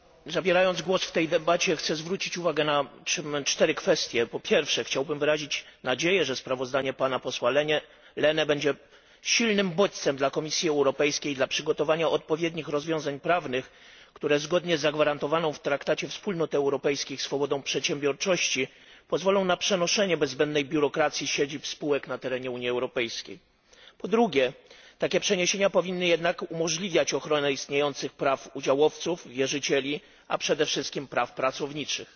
Panie przewodniczący! Zabierając głos w tej debacie, chcę zwrócić uwagę na cztery kwestie. Po pierwsze chciałbym wyrazić nadzieję, że sprawozdanie pana posła Lehne będzie silnym bodźcem dla Komisji Europejskiej dla przygotowania odpowiednich rozwiązań prawnych, które zgodnie z zagwarantowaną w traktacie Wspólnot Europejskich swobodą przedsiębiorczości pozwolą na przenoszenie bez zbędnej biurokracji siedzib spółek na terenie Unii Europejskiej. Po drugie takie przeniesienia powinny umożliwiać jednak ochronę istniejących praw udziałowców, wierzycieli, a przede wszystkim praw pracowniczych.